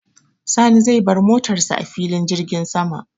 Sani zai bar motar sa a filin jirgin sama.